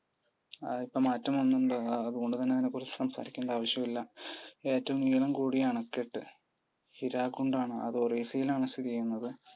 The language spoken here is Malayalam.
ഇപ്പം അതിനു മാറ്റം വന്നിട്ടുണ്ട്. അതുകൊണ്ട് തന്നെ അതിനെക്കുറിച്ചു സംസാരിക്കേണ്ട ആവശ്യം ഇല്ല. ഏറ്റവും നീളം കൂടിയ അണക്കെട്ട്? ഹിരാക്കുണ്ട്‌ ആണ്. അത് ഒറീസയിൽ ആണ് സ്ഥിതി ചെയ്യുന്നത്.